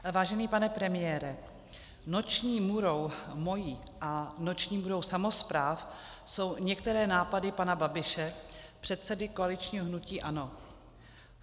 Vážený pane premiére, noční můrou mou a noční můrou samospráv jsou některé nápady pana Babiše, předsedy koaličního hnutí ANO.